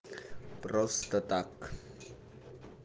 просто так